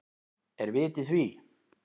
Er vit í því?